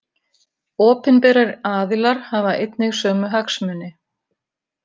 Opinberir aðilar hafa einnig sömu hagsmuni.